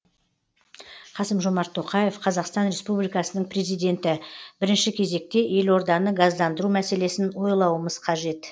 қасым жомарт тоқаев қазақстан республикасының президенті бірінші кезекте елорданы газдандыру мәселесін ойлауымыз қажет